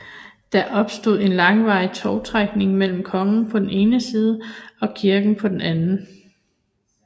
Der opstod en langvarig tovtrækning mellem kongen på den ene side og kirken på den anden